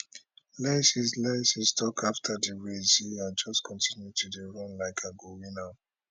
lyles lyles tok afta di race say i just continue to dey run like i go win am